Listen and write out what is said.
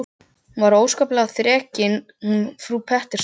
Hún var óskaplega þrekin hún frú Pettersson.